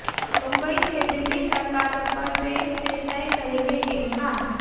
मुंबई से दिल्ली तक का सफर ट्रेन से तय करेंगे किंग खान